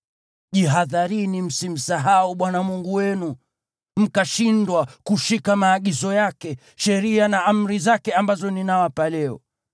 Jihadharini msimsahau Bwana Mungu wenu, mkashindwa kushika maagizo yake, sheria na amri zake ambazo ninawapa leo.